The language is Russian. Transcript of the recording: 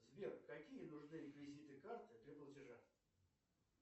сбер какие нужны реквизиты карты для платежа